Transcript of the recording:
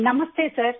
ನಮಸ್ತೇ sir